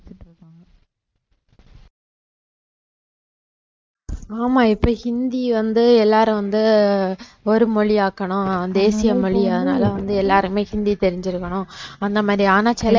ஆமா இப்ப ஹிந்தி வந்து எல்லாரும் வந்து ஒரு மொழி ஆக்கணும் தேசிய மொழி அதனால வந்து எல்லாருமே ஹிந்தி தெரிஞ்சிருக்கணும் அந்த மாதிரி ஆனா